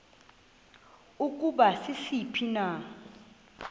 ukuba sisiphi na